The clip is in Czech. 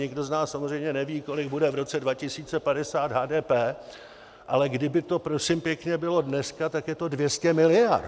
Nikdo z nás samozřejmě neví, kolik bude v roce 2050 HDP, ale kdyby to prosím pěkně bylo dneska, tak je to 200 miliard.